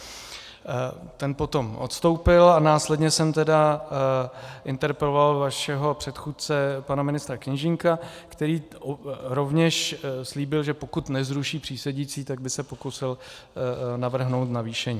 Ten potom odstoupil a následně jsem tedy interpeloval vašeho předchůdce pana ministra Kněžínka, který rovněž slíbil, že pokud nezruší přísedící, tak by se pokusil navrhnout navýšení.